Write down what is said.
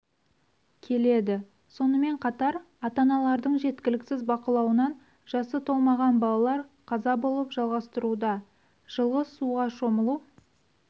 келеді сонымен қатар ата-аналардың жеткіліксіз бақылауынан жасы толмаған балалар қаза болып жалғастыруда жылғы суға шомылу